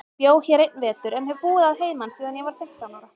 Ég bjó hér einn vetur, en hef búið að heiman síðan ég var fimmtán ára.